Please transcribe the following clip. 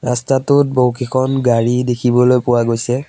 ৰাস্তাটোত বহুকিখন গাড়ী দেখিবলৈ পোৱা গৈছে।